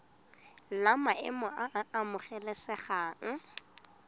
la maemo a a amogelesegang